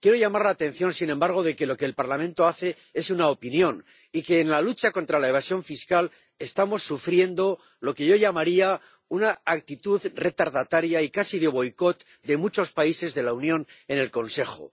Quiero destacar, sin embargo, que lo que el Parlamento hace es una opinión y que en la lucha contra la evasión fiscal estamos sufriendo lo que yo llamaría una actitud retardataria y casi de boicot de muchos países de la Unión en el Consejo.